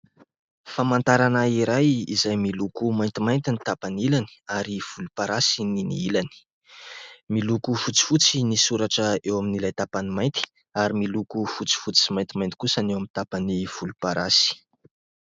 Famantarana iray, izay miloko maintimainty ny tapany ilany ary volomparasy ny ilany, miloko fotsifotsy ny soratra eo amin'ilay tapany mainty ary miloko fotsifotsy sy maintimainty kosa ny eo amin'ny tapany volomparasy.